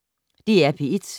DR P1